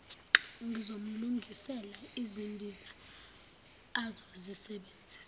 ngizomlungisela izimbiza azozisebenzisa